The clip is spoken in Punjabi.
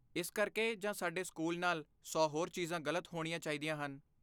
ਇਸ ਕਰਕੇ ਜਾਂ ਸਾਡੇ ਸਕੂਲ ਨਾਲ ਸੌ ਹੋਰ ਚੀਜ਼ਾਂ ਗਲਤ ਹੋਣੀਆਂ ਚਾਹੀਦੀਆਂ ਹਨ।